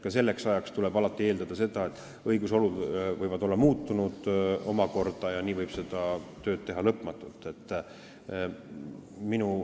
Alati tuleb eeldada, et õigusolud võivad olla omakorda muutunud, ja nii võib seda tööd teha lõputult.